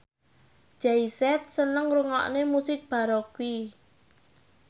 Jay Z seneng ngrungokne musik baroque